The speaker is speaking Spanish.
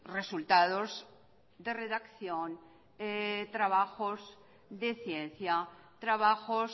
resultados de redacción trabajos de ciencia trabajos